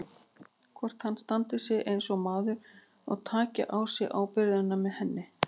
Hvort hann standi sig eins og maður og taki á sig ábyrgðina með henni.